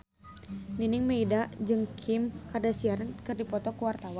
Nining Meida jeung Kim Kardashian keur dipoto ku wartawan